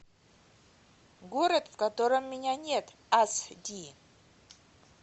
город в котором меня нет ас ди